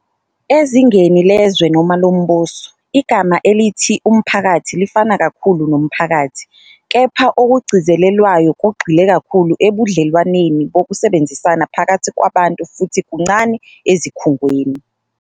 Ezingeni lezwe noma lombuso, igama elithi umphakathi lifana kakhulu nomphakathi, kepha okugcizelelwayo kugxile kakhulu ebudlelwaneni bokusebenzisana phakathi kwabantu futhi kuncane ezikhungweni.